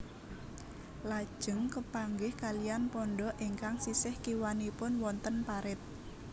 Lajeng kepanggih kaliyan pondhok ingkang sisih kiwanipun wonten parit